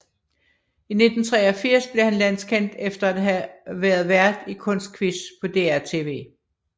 I 1983 blev han landskendt efter at have været vært i Kunstquiz på DR tv